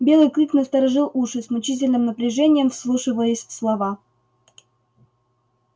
белый клык насторожил уши с мучительным напряжением вслушиваясь в слова